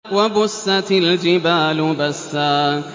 وَبُسَّتِ الْجِبَالُ بَسًّا